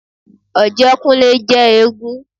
Ọ̀jẹ́kúnlé jẹ́ éégún